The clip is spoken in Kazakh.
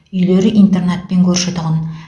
үйлері интернатпен көрші тұғын